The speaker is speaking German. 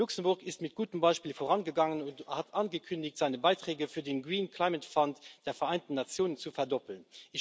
Luxemburg ist mit gutem Beispiel vorangegangen und hat angekündigt, seine Beiträge zum Green Climate Fund der Vereinten Nationen zu verdoppeln.